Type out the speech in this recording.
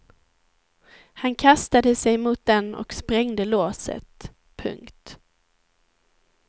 Han kastade sig mot den och sprängde låset. punkt